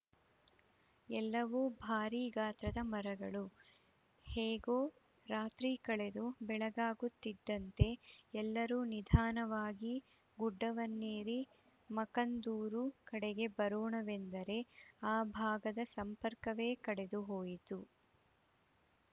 ಎಲ್ಲವೂ ಭಾರಿ ಗಾತ್ರದ ಮರಗಳು ಹೇಗೋ ರಾತ್ರಿ ಕಳೆದು ಬೆಳಗಾಗುತ್ತಿದ್ದಂತೆ ಎಲ್ಲರೂ ನಿಧಾನವಾಗಿ ಗುಡ್ಡವನ್ನೇರಿ ಮಕ್ಕಂದೂರು ಕಡೆಗೆ ಬರೋಣವೆಂದರೆ ಆ ಭಾಗದ ಸಂಪರ್ಕವೇ ಕಡಿದು ಹೋಗಿತ್ತು